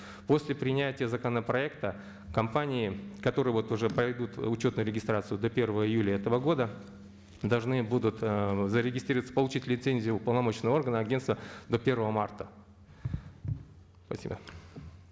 после принятия законопроекта компании которые вот уже пройдут учетную регистрацию до первого июля этого года должны будут ыыы зарегестрироваться получить лицензию уполномоченного органа агенства до первого марта спасибо